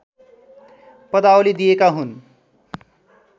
पदावली दिएका हुन्